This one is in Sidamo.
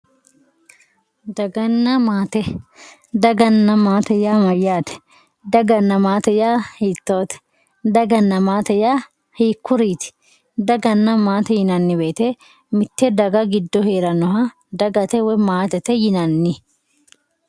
Daganna maate, daganna maate yaa mayyate ,daganna maate yaa hiittote, daganna maate yaa hiikkuriti, dagana maate yinanni woyte mite daga giddora heeranoha dagate woyi maatete yinanni.